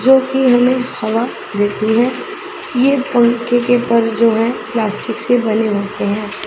जोकि हमें हवा देती हैं ये पंखे के पर जो है प्लास्टिक से बने होते हैं।